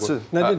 Məsləhətçi.